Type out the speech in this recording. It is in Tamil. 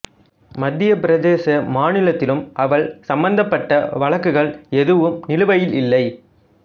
மத்தியபிரதேச மாநிலத்திலும் அவள் சம்பந்தப்பட்ட வழக்குகள் எதுவும் நிலுவையில் இல்லை